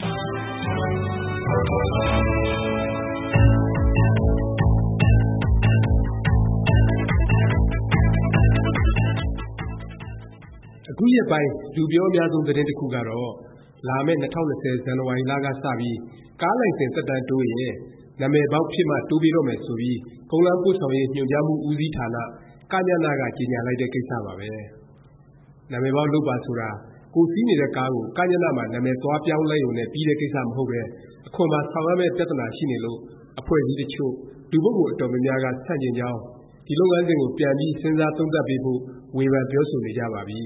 အခုရက်ပိုင်း လူပြောအများဆုံး သတင်းတစ်ခုကတော့ လာမယ့် ၂၀၂၀ ဇန်နဝါရီလ က စပြီး ကားလိုင်စင် သက်တမ်းတိုးရင် နာမည်ပေါက် ဖြစ်မှ တိုးပေးတော့မယ် ဆိုပြီး ကုန်းလမ်းပို့ဆောင်ရေး ညွှန်ကြားမှု ဦးစီးဌာန “ကညန” က ကြေငြာလိုက်တဲ့ ကိစ္စပါပဲ။ နာမည်ပေါက် လုပ်ပါ ဆိုတာ ကိုယ်စီးနေတဲ့ကားကို ကညန မှာ နာမည်သွားပြောင်းလိုက်ရုံနဲ့ ပြီးတဲ့ ကိစ္စ မဟုတ်ပဲ အခွန်ပါ ဆောင်ရမယ့် ပြသနာ ရှိနေလို့ အဖွဲ့အစည်းတစ်ချို့၊ လူပုဂ္ဂိုလ် အတော်များများက ဆန့်ကျင်ကြောင်း၊ ဒီ လုပ်ငန်းစဉ်ကို ပြန်ပြီး စဉ်းစားသုံးသပ်ပေးဖို့ ဝေဖန် ပြောဆိုနေကြပါပြီ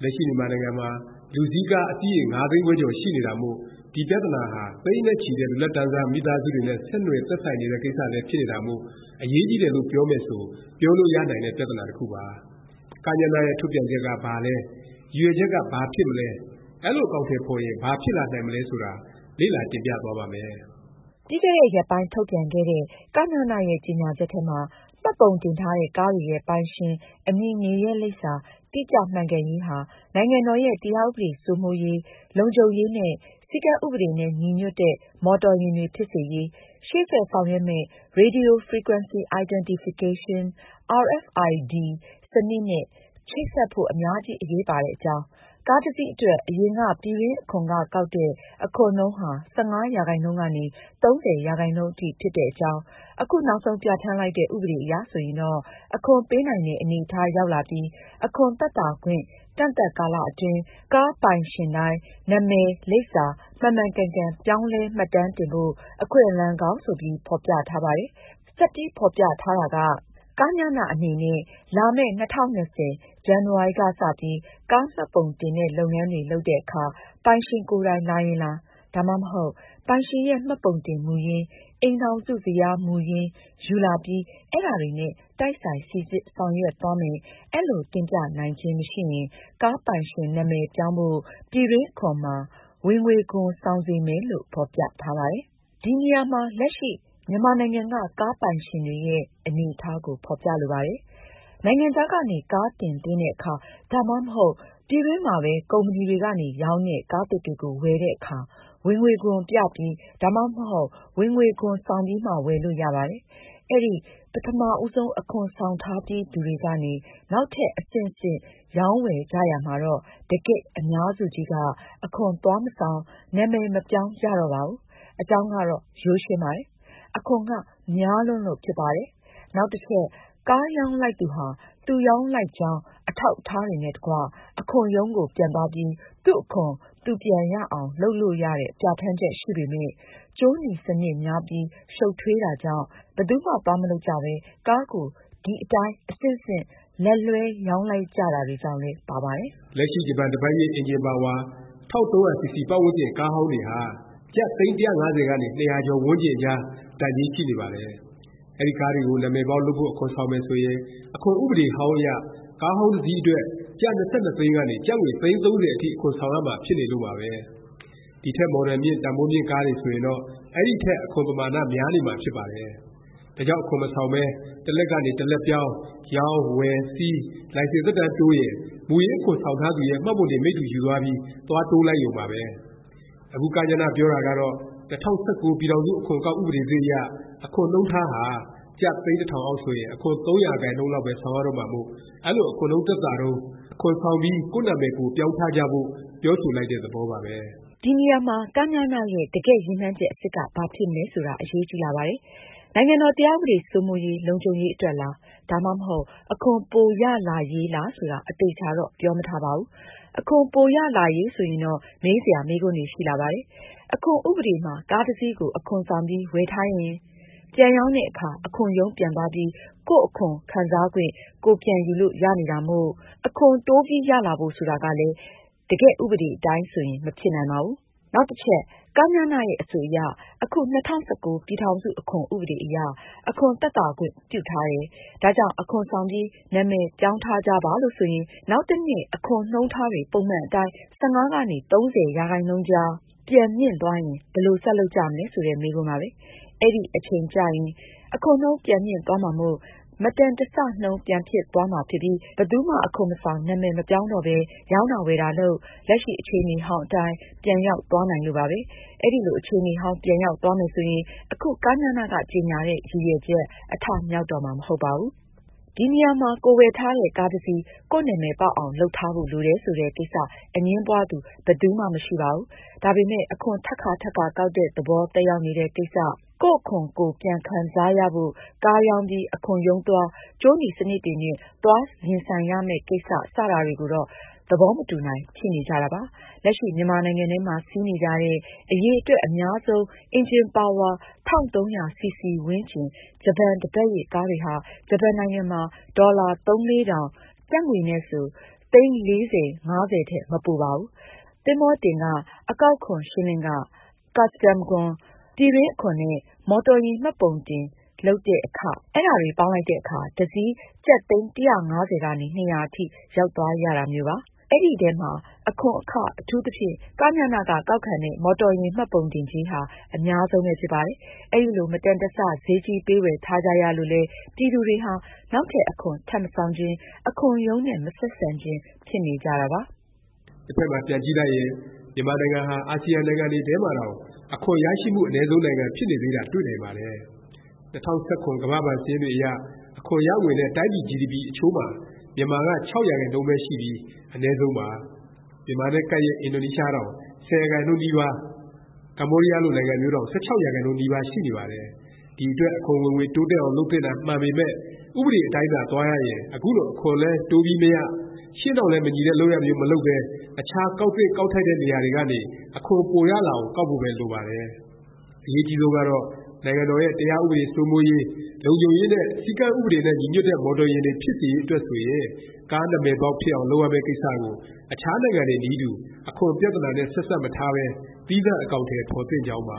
။ လက်ရှိ မြန်မာနိုင်ငံမှာ လူစီးကား အစီးရေ ၅ သိန်းခွဲကျော် ရှိနေတာမို့ ဒီ ပြသနာဟာ သိန်းနဲ့ချီတဲ့ လူလတ်တန်းစား မိသားစုတွေနဲ့ ဆက်နွှယ် သက်ဆိုင်နေတဲ့ ကိစ္စလည်း ဖြစ်နေတာမို့ အရေးကြီးတယ်လို့ ပြောမယ် ဆို ပြောလို့ရနိုင်တဲ့ ပြသနာ တစ်ခုပါ။ ကညန ရဲ့ ထုတ်ပြန်ချက်က ဘာလဲ၊ ရည်ရွယ်ချက်က ဘာဖြစ်မလဲ၊ အဲလို အကောင်အထည် ဖော်ရင် ဘာဖြစ်လာနိုင်မလဲ ဆိုတာ လေ့လာ တင်ပြသွားပါ့မယ်။ ပြီးခဲ့တဲ့ ရက်ပိုင်း ထုတ်ပြန်ခဲ့တဲ့ ကညန ရဲ့ ကြေငြာချက်ထဲမှာ မှတ်ပုံတင်ထားတဲ့ ကားတွေရဲ့ ပိုင်ရှင်၊ အမည်၊ နေရပ်လိပ်စာ တိကျမှန်ကန်ရေးဟာ နိုင်ငံတော်ရဲ့ တရားဥပဒေ စိုးမိုးရေး၊ လုံခြုံရေးနဲ့ စည်းကမ်းဥပဒေနဲ့ ညီညွတ်တဲ့ မော်တော်ယာဉ်တွေ ဖြစ်စေရေး၊ ရှေ့ဆက်ဆောင်ရွက်မယ့် Radio Frequency Identification (RFID) စနစ်နဲ့ ချိတ်ဆက်ဖို့ အများကြီး အရေးပါတဲ့ အကြောင်း၊ ကားတစ်စီးအတွက် အရင်က ပြည်တွင်းအခွန်က ကောက်တဲ့ အခွန်နှုန်းဟာ ၁၅ ရာခိုင်နှုန်းကနေ ၃၀ ရာခိုင်နှုန်း အထိဖြစ်တဲ့အကြောင်း၊ အခုနောက်ဆုံး ပြဌာန်းလိုက်တဲ့ ဥပဒေအရ ဆိုရင်တော့ အခွန်ပေးနိုင်တဲ့ အနေအထား ရောက်လာပြီး အခွန်သက်သာခွင့် ကန့်သတ်ကာလ အတွင်း ကားပိုင်ရှင်တိုင်း နာမည်၊ လိပ်စာ မှန်မှန်ကန်ကန် ပြောင်းလဲ မှတ်တမ်းတင်ဖို့ အခွင့်အလမ်းကောင်း ဆိုပြီး ဖော်ပြထားပါတယ်။ ဆက်ပြီး ဖော်ပြထားတာက ကညန အနေနဲ့ လာမယ့် ၂၀၂၀ ဇန်နဝါရီ က စပြီး ကားမှတ်ပုံတင်တဲ့ လုပ်ငန်းတွေ လုပ်တဲ့အခါ ပိုင်ရှင် ကိုယ်တိုင် လာရင်လာ၊ ဒါမှမဟုတ် ပိုင်ရှင်ရဲ့ မှတ်ပုံတင်မူရင်း၊ အိမ်ထောင်စု ဇယားမူရင်း ယူလာပြီး အဲဒါတွေနဲ့ တိုက်ဆိုင် စိစစ် ဆောင်ရွက်သွားမယ်၊ အဲလို တင်ပြနိုင်ခြင်း မရှိရင် ကားပိုင်ရှင် နာမည်ပြောင်းဖို့ ပြည်တွင်း အခွန်မှာ ဝင်ငွေခွန် ဆောင်စေမယ်လို့ ဖော်ပြထားပါတယ်။ ဒီနေရာမှာ လက်ရှိ မြန်မာနိုင်ငံက ကားပိုင်ရှင်တွေရဲ့ အနေအထားကို ဖော်ပြဖို့ လိုပါတယ်။ နိုင်ငံခြားကနေ ကားတင်သွင်းတဲ့အခါ ၊ ဒါမှမဟုတ် ပြည်တွင်းမှာပဲ ကုမ္ပဏီတွေကနေ ရောင်းတဲ့ ကားသစ်တွေကို ဝယ်တဲ့အခါ ဝင်ငွေခွန် ပြပြီး၊ ဒါမှမဟုတ် ဝင်ငွေခွန် ဆောင်ပြီးမှ ဝယ်လို့ရပါတယ်။အဲဒီ ပထမဦးဆုံး အခွန်ဆောင်ထားပြီးသူတွေကနေ နောက်ထပ် အဆင့်ဆင့် ရောင်းဝယ်ကြရာမှာတော့ တကယ့် အများစုကြီးက အခွန် သွားမဆောင် နာမည် မပြောင်းကြတော့ပါဘူး။ အကြောင်းကတော့ ရိုးရှင်းပါတယ်။ အခွန်က များလွန်းလို့ ဖြစ်ပါတယ်။ နောက်တစ်ချက် ကားရောင်းလိုက်သူဟာ သူရောင်းလိုက်ကြောင်း အထောက်အထားတွေနဲ့ တကွ အခွန်ရုံးကို ပြန်သွားပြီး သူ့အခွန် သူပြန်ရအောင် လုပ်လို့ရတဲ့ ပြဌာန်းချက် ရှိပေမယ့် ကြိုးနီစနစ်များပြီး ရှုပ်ထွေးတာကြောင့် ဘယ်သူမှ သွားမလုပ်ကြပဲ ကားကို ဒီအတိုင်း အဆင့်ဆင့် လက်လွဲှ ရောင်းလိုက်ကြတာတွေကြောင့်လဲ ပါပါတယ်။ လက်ရှိ ဂျပန် တစ်ပတ်ရစ် အင်ဂျင်ပါဝါ 1300 CC ပတ်ဝန်းကျင် ကားဟောင်းတွေဟာ ကျပ် သိန်း ၁၅၀ ကနေ ၂၀၀ ကျော်ဝန်းကျင်အကြား တန်ကြေး ရှိနေပါတယ်။ အဲဒီ ကားတွေကို နာမည်ပေါက်လုပ်ဖို့ အခွန်ဆောင်မယ် ဆိုရင် အခွန်ဥပဒေဟောင်းအရ ကားဟောင်းတစ်စီး အတွက် ကျပ် ၂၂ သိန်းကနေ ကျပ်ငွေ သိန်း ၃၀ အထိ အခွန်ဆောင်ရမှာ ဖြစ်နေလို့ပါပဲ။ ဒီထက် မော်ဒယ်မြင့် တန်ဘိုးမြင့် ကားတွေ ဆိုရင်တော့ အဲဒီထက် အခွန်ပမာဏ များနေမှာ ဖြစ်ပါတယ်။ ဒါကြောင့် အခွန်မဆောင်ပဲ တစ်လက်ကနေ တစ်လက်ပြောင်း၊ ရောင်း၊ဝယ် စီး၊ လိုင်စင် သက်တမ်းတိုးရင် မူရင်း အခွန်ဆောင်ထားသူရဲ့ မှတ်ပုံတင် မိတ္တူ ယူသွားပြီး သွားတိုးလိုက်ရုံပါပဲ။ အခု ကညန ပြောတာကတော့ ၂၀၁၉ ပြည်ထောင်စု အခွန်အကောက် ဥပဒေသစ်အရ အခွန်နှုန်းထားဟာ ကျပ် သိန်းတစ်ထောင်အောက် ဆိုရင် အခွန်၃ ရာခိုင်နှုန်းလောက်ပဲ ဆောင်ရတော့မှာမို့ အဲလို အခွန်နှုန်း သက်သာတုန်း အခွန်ဆောင်ပြီး ကိုယ့်နာမည် ကိုယ်ပြောင်းထားကြဖို့ ပြောဆိုလိုက်တဲ့ သဘောပါပဲ။ ဒီနေရာမှာ ကညန ရဲ့ တကယ့် ရည်မှန်းချက် အစစ်က ဘာဖြစ်မလဲ ဆိုတာ အရေးကြီးလာပါတယ်။ နိုင်ငံတော် တရားဥပဒေ စိုးမိုးရေး၊ လုံခြုံရေး အတွက်လား၊ ဒါမှမဟုတ် အခွန်ပိုရလာရေးလား ဆိုတာ အသေအခြာတော့ ပြောမထားပါဘူး။ အခွန် ပိုရလာရေးဆိုရင်တော့ မေးစရာ မေးခွန်းတွေ ရှိလာပါတယ်။ အခွန်ဥပဒေမှာ ကားတစ်စီးကို အခွန်ဆောင်ပြီး ဝယ်ထားရင် ပြန်ရောင်းတဲ့အခါ အခွန်ရုံးပြန်သွားပြီး ကိုယ့်အခွန်ခံစားခွင့် ကိုယ် ပြန်ယူလို့ ရနေတာမို့ အခွန် တိုးတက် ရလာဖို့ ဆိုတာကလည်း တကယ်ဥပဒေ အတိုင်းဆိုရင် မဖြစ်နိုင်ပါဘူး။ နောက်တစ်ချက် ကညန ရဲ့ အဆိုအရ အခု ၂၀၁၉ ပြည်ထောင်စု အခွန်ဥပဒေ အရ အခွန် သက်သာခွင့် ပြုထားတယ်၊ ဒါကြောင့် အခွန်ဆောင်ပြီး နာမည် ပြောင်းထားကြပါ လို့ ဆိုရင် နောက်တစ်နှစ် အခွန်နှုန်းထားတွေ ပုံမှန်အတိုင်း ၁၅ ကနေ ၃၀ ရာခိုင်နှုန်းကြား ပြန်မြင့်သွားရင် ဘယ်လို ဆက်လုပ်ကြမလဲ ဆိုတဲ့ မေးခွန်းပါပဲ။ အဲဒီ အချိန်ကျရင် အခွန်နှုန်း ပြန်မြင့်သွားမှာမို့၊ မတန်တဆ နှုန်း ပြန်ဖြစ်သွားမှာ ဖြစ်ပြီး ဘယ်သူမှ အခွန်မဆောင်၊ နာမည် မပြောင်းတော့ပဲ ရောင်းတာ ဝယ်တာလုပ်၊ လက်ရှိ အခြေအနေဟောင်း အတိုင်း ပြန်ရောက်သွားနိုင်လို့ပါပဲ။ အဲလို အခြေအနေဟောင်း ပြန်ရောက်သွားမယ် ဆိုရင် အခု ကညန က ကြေငြာတဲ့ ရည်ရွယ်ချက် အထမြောက်တော့မှာ မဟုတ်ပါဘူး။ ဒီနေရာမှာ ကိုယ်ဝယ်ထားတဲ့ ကားတစ်စီး ကိုယ့်နာမည်ပေါက်အောင် လုပ်ထားဖို့ လိုတယ် ဆိုတဲ့ကိစ္စ အငြင်းပွားသူ ဘယ်သူမှ မရှိပါဘူး။ ဒါပေမယ့် အခွန် ထပ်ကာ ထပ်ကာ ကောက်တဲ့သဘော သက်ရောက်နေတဲ့ ကိစ္စ၊ ကိုယ့်အခွန် ကိုယ်ပြန်ခံစားရဖို့ ကားရောင်းပြီး အခွန်ရုံးသွား၊ ကြိုးနီစနစ်တွေနဲ့ သွားရင်ဆိုင်ရမယ့် ကိစ္စ စတာတွေကိုတော့ သဘောမတူနိုင် ဖြစ်နေကြတာပါ။ လက်ရှိ မြန်မာနိုင်ငံထဲမှာ စီးနေကြတဲ့ အရည်အတွက် အများဆုံး အင်ဂျင်ပါဝါ ၁၃၀၀ စီစီ ဝန်းကျင် ဂျပန် တစ်ပတ်ရစ် ကားတွေဟာ ဂျပန်နိုင်ငံမှာ ဒေါ်လာ ၃-၄ထောင်၊ ကျပ်ငွေနဲ့ဆို သိန်း ၄-၅ဆယ် ထက် မပိုပါဘူး။ သင်္ဘောတင်ခ၊ အကောက်ခွန် ရှင်းလင်းခ၊ ကာစတန်ခွန်၊ ပြည်တွင်းအခွန် နဲ့ မော်တော်ယာဉ် မှတ်ပုံတင် လုပ်တဲ့အခ အဲဒါတွေ ပေါင်းလိုက်တဲ့အခါ တစ်စီး ကျပ် သိန်း ၁၅၀- ၂၀၀ အထိ ရောက်သွားရတော့တာမျိုးပါ။ အဲဒီအထဲမှာ အခွန်အခ၊ အထူးသဖြင့် ကညန က ကောက်ခံတဲ့ “မော်တော်ယာဉ် မှတ်ပုံတင်ကြေး”ဟာ အများဆုံးပဲ ဖြစ်ပါတယ်။ အဲလို မတန်တဆ ဈေးကြီးပေး ဝယ်ထားကြရလို့လဲ ပြည်သူတွေဟာ နောက်ထပ် အခွန် ထပ်မဆောင်ချင်၊ အခွန်ရုံးနဲ့ မဆက်ဆံချင် ဖြစ်နေကြတာပါ။ တစ်ဖက်မှာ ပြန်ကြည့်လိုက်ရင် မြန်မာနိုင်ငံဟာ အာစီယံ နိုင်ငံတွေထဲမှာတောင် အခွန် ရရှိမှု အနည်းဆုံး နိုင်ငံ ဖြစ်နေသေးတာ တွေ့နိုင်ပါတယ်။ ၂၀၁၇ ကမ္ဘာ့ဘဏ် စာရင်းတွေအရ အခွန်ရငွေနဲ့ တိုင်းပြည် GDP အချိုးမှာ မြန်မာက ၆ ရာခိုင်နှုန်းပဲ ရှိပြီး အနည်းဆုံးပါ။ မြန်မာနဲ့ ကပ်လျက် အင်ဒိုနီးရှားတောင် ၁၀ ရာခိုင်နှုန်းနီးပါး ကမ္ဘောဒီးယား လိုနိုင်ငံမျိုးတောင် ၁၆ ရာခိုင်နှုန်း နီးပါးရှိနေပါတယ်။ ဒီအတွက် အခွန်ဝင်ငွေ တိုးတက်အောင် လုပ်သင့်တာ မှန်ပေမယ့် ဥပဒေ အတိုင်းသာ သွားရရင် အခုလို အခွန်လည်း တိုးပြီးမရ၊ ရှေ့နောက်လည်း မညီတဲ့ လုပ်ရပ်မျိုး မလုပ်ပဲ အခြား ကောက်သင့် ကောက်ထိုက်တဲ့ နေရာတွေကနေ အခွန်ပိုရလာအောင် ကောက်ဖို့ပဲ လိုပါတယ်။ အရေးအကြီးဆုံးကတော့ နိုင်ငံတော်ရဲ့ တရားဥပဒေ စိုးမိုးရေး၊ လုံခြုံရေးနဲ့ စည်းကမ်းဥပဒေနဲ့ ညီညွတ်တဲ့ မော်တော်ယာဉ်တွေ ဖြစ်စေရေး အတွက်ဆိုရင် ကားနာမည်ပေါက် ဖြစ်အောင် လုပ်ရမယ့် ကိစ္စကို အခြား နိုင်ငံတွေနည်းတူ အခွန်ပြသနာနဲ့ ဆက်စပ် မထားပဲ သီးသန့် အကောင်အထည် ဖော်သင့်ကြောင်းပါ